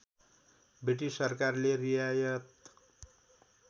British सरकारले रियायत